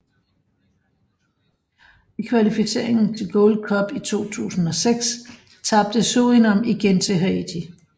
I kvalificeringen til Gold Cup i 2006 tabte Surinam igen til Haiti